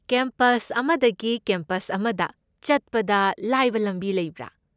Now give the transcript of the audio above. Campus ꯑꯃꯗꯒꯤ ꯀꯦꯝꯄꯁꯇ ꯑꯃꯗ ꯆꯠꯄꯗ ꯂꯥꯏꯕ ꯂꯝꯕꯤ ꯂꯩꯕ꯭ꯔꯥ?